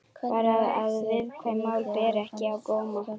Bara að viðkvæm mál beri ekki á góma.